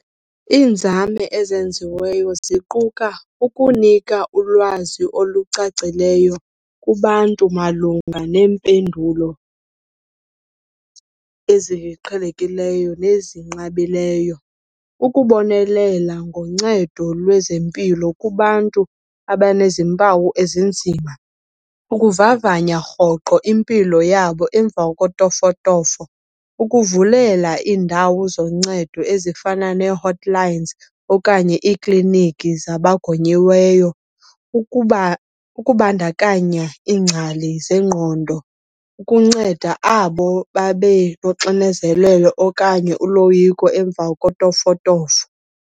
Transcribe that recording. Iinzame ezenziweyo ziquka ukunika ulwazi olucacileyo kubantu malunga neempendulo eziqhelekileyo nezinqabileyo, ukubonelela ngoncedo lwezempilo kubantu abanezi mpawu ezinzima, ukuvavanya rhoqo impilo yabo emva kotofotofo. Ukuvulela iindawo zoncedo ezifana nee-hot lines okanye iikliniki zabagonyiweyo, ukubandakanya iingcali zengqondo ukunceda abo babe noxinezelelo okanye uloyiko emva kotofotofo.